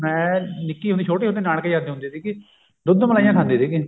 ਮੈਂ ਨਿੱਕੀ ਹੁੰਦੀ ਛੋਟੇ ਹੁੰਦੇ ਨਾਨਕੇ ਜਾਂਦੀ ਹੁੰਦੀ ਸੀਗੀ ਦੁੱਧ ਮਲਾਈਆਂ ਖਾਂਦੀ ਸੀਗੀ